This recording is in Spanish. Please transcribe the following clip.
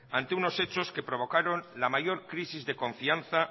ante unos hechos que provocaron la mayor crisis de confianza